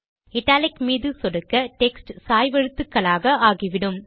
italic மீது சொடுக்க text சாய்வெழுத்துக்களாக ஆகிவிடும்